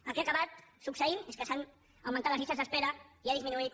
el que ha acabat succeint és que s’han augmentat les llistes d’espera i ha disminuït